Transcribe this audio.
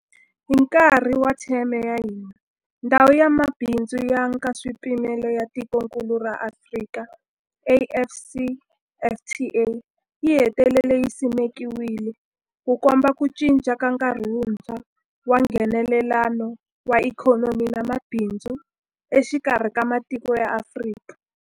Hi nkarhi wa theme ya hina, Ndhawu ya Mabindzu ya Nkaswipimelo ya Tikokulu ra Afrika, AfCFTA, yi hetelele yi simekiwile, Ku komba ku cinca ka nkarhi wuntshwa wa Nghenelelano wa ikhonomi na mabindzu exikarhi ka matiko ya Afrika.